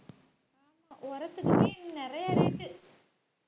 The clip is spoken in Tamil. உரத்துக்குன்னே நிறைய rate உ